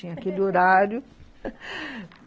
Tinha aquele horário.